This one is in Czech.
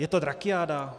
Je to drakiáda?